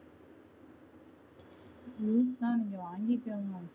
நீங்க வாங்கியிருக்க வேண்டாம்